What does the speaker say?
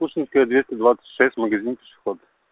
пушкинская двести двадцать шесть магазин пешеход